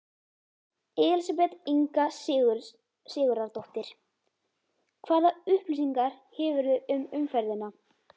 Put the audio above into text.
Elísabet Inga Sigurðardóttir: Hvaða upplýsingar hefurðu um umferðina?